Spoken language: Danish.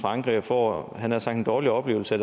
frankrig og får en dårlig oplevelse